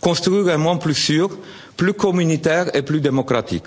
pour construire un monde plus sûr, plus communautaire et plus démocratique.